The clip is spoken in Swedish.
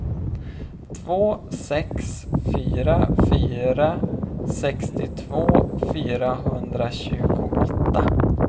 två sex fyra fyra sextiotvå fyrahundratjugoåtta